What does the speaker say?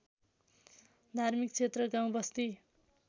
धार्मिक क्षेत्र गाउँबस्ती